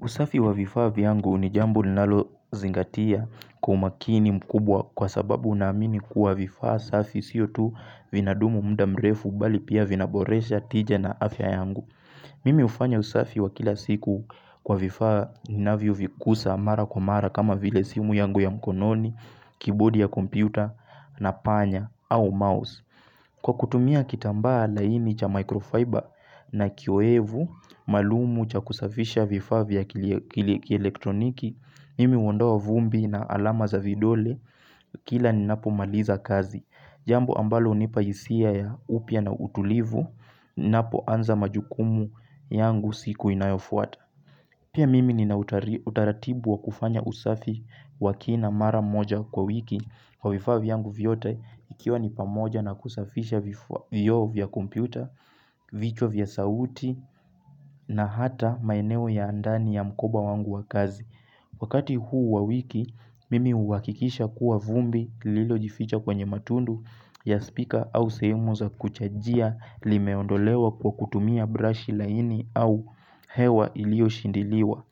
Usafi wa vifaa vyangu ni jambo linalozingatia kwa umakini mkubwa kwa sababu unaamini kuwa vifaa safi sio tu vinadumu mda mrefu bali pia vinaboresha tija na afya yangu. Mimi hufanya usafi wa kila siku kwa vifaa ninavyovikusa mara kwa mara kama vile simu yangu ya mkononi, kibodi ya kompyuta na panya au mouse. Kwa kutumia kitambaa laini cha microfiber na kioevu, maalumu cha kusafisha vifaa vya kielektroniki, mimi huondoa vumbi na alama za vidole, kila ninapomaliza kazi, jambo ambalo hunipa hisia ya upua na utulivu, napoanza majukumu yangu siku inayofuata. Pia mimi nina utaratibu wa kufanya usafi wa kina mara moja kwa wiki kwa vifaa vyangu vyote ikiwa ni pamoja na kusafisha vioo vya kompyuta, vichwa vya sauti na hata maineo ya ndani ya mkoba wangu wa kazi. Wakati huu wa wiki, mimi huakikisha kuwa vumbi lilojificha kwenye matundu ya speaker au sehemu za kuchajia limeondolewa kwa kutumia brush laini au hewa iliyoshindiliwa.